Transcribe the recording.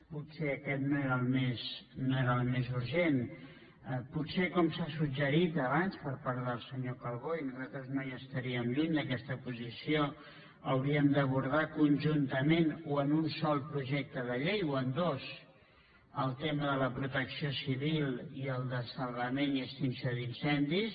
potser aquest no era el més urgent potser com s’ha suggerit abans per part del senyor calbó i nosaltres no hi estaríem lluny d’aquesta posició hauríem d’abordar conjun·tament o en un sol projecte de llei o en dos el tema de la protecció civil i el de salvament i extinció d’in·cendis